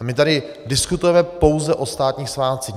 A my tady diskutujeme pouze o státních svátcích.